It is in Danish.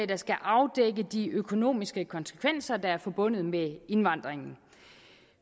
der skal afdække de økonomiske konsekvenser der er forbundet med indvandringen